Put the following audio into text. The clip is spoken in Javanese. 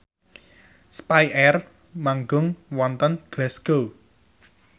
spyair manggung wonten Glasgow